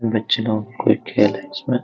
बच्चे लोग कुछ खेल रहे है जिसमें--